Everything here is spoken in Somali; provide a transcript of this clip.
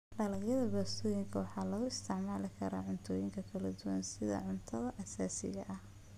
Dalagyada baastooyinka waxaa loo isticmaali karaa cuntooyin kala duwan iyo sidii cunto aasaasi ah.